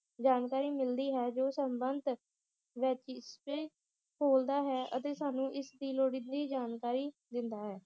ਜਾਣਕਾਰੀ ਮਿਲਦੀ ਹੈ ਜੋ ਸਮਬੰਤ ਖੋਲ੍ਹਦਾ ਹੈ ਅਤੇ ਸਾਨੂੰ ਇਸਦੀ ਲੋੜੀਂਦੀ ਜਾਣਕਾਰੀ ਦਿੰਦਾ ਹੈ